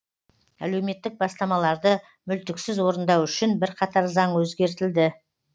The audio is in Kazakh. әлеуметтік бастамаларды мүлтіксіз орындау үшін бірқатар заң өзгертілді